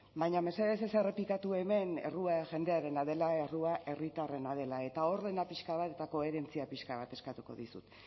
baina mesedez ez errepikatu hemen errua jendearena dela errua herritarrena dela eta ordena pixka bat eta koherentzia pixka bat eskatuko dizut